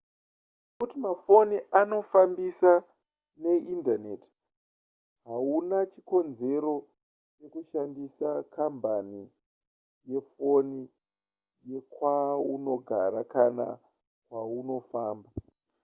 nekuti mafoni anofambiswa neindaneti hauna chikonzero chekushandisa kambani yefoni yekwaunogara kana kwaunofamba